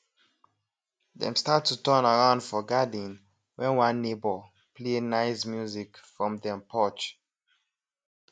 dem start to turn around for garden when one neighbor play nice music from dem porch